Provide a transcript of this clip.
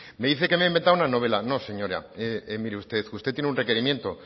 me dice que me he inventado una novela no señora usted tiene un requerimiento